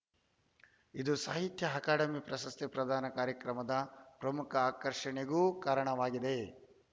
ಇದು ಸಾಹಿತ್ಯ ಅಕಾಡೆಮಿ ಪ್ರಶಸ್ತಿ ಪ್ರದಾನ ಕಾರ್ಯಕ್ರಮದ ಪ್ರಮುಖ ಆಕರ್ಷಣೆಗೂ ಕಾರಣವಾಗಿದೆ